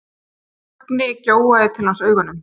Högni gjóaði til hans augunum.